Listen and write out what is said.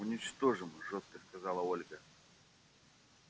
уничтожим жёстко сказала ольга